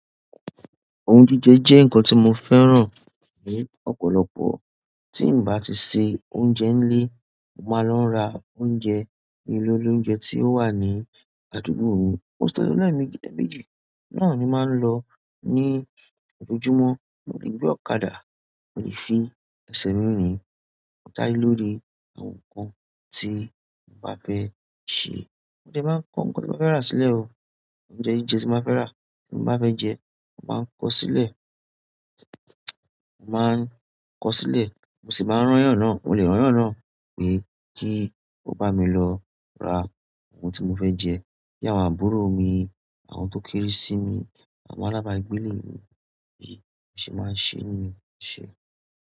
Oún jíjẹ jẹ́ nǹkan tí mo fẹ́ràn ni ọ̀pọ̀lọpọ̀. Tí n bá ti se oúnjẹ nílé, màá lọ ra oúnjẹ ní ilé olóunjẹ tí ó wà ní àdúgbò mi. Most of the time eméjì náà ni màá ń lọ ní ojoojúmọ́. Mo lè gbé ọ̀kadà, mo lè fi ẹsẹ̀ mi rín. O dá lé lórí àwọn nǹkan tí mo bá fẹ́ ṣe. Mo de máa kó nǹkan tí mo fẹ́ rà sílẹ̀ o. Oúnjẹ jíjẹ tí n ba fẹ́ rà, tí mo bá fẹ́ jẹ, màá kó sílẹ̀. Màá n kó sílẹ̀, mo sì máa n rán yan náà. Mo lè rán yan náà pé kí ó bá mi lọ ra ohun tí mo fẹ́ jẹ. Bí àwọn àbúrò mi, àwọn tó kéré sí mi, àwọn alábàágbé ilé mi, bí mo se máa ṣe niyen eṣe.